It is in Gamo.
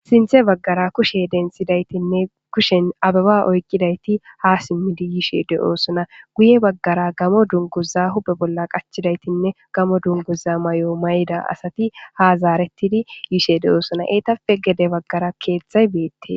sinthe baggara kushe densidaytinne kushen ababa oykqidayti ha simmidi yishe de7oosuna guye baggara gamo dunguza hube bolla qachidaytinne gamo dunguza may7o may7ida asati ha zaaretidi yishe deoosuna eetape gede baggara keeththay beette